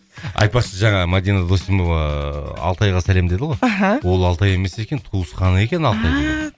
айтпақшы жаңа мадина досымова алтайға сәлем деді ғой аха ол алтай емес екен туысқаны екен алтай деген ааа